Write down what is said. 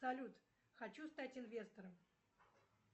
салют хочу стать инвестором